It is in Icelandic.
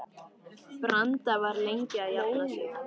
Branda var lengi að jafna sig.